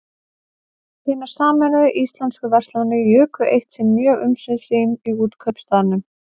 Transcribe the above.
Hinar sameinuðu íslensku verslanir juku eitt sinn mjög umsvif sín í Útkaupstaðnum.